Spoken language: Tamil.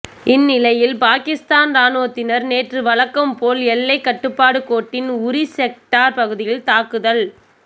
இந்நிலையில் பாகிஸ்தான் ராணுவத்தினர் நேற்று வழக்கம் போல் எல்லைக் கட்டுப்பாடு கோட்டின் உரி செக்டார் பகுதியில் தாக்குதல்